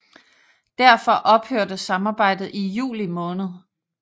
Derfor ophørte samarbejdet i juli måned